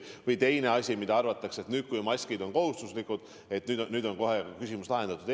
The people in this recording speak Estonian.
Või teine asi: arvatakse, et nüüd, kui maskid on kohustuslikud, on kohe küsimus lahendatud.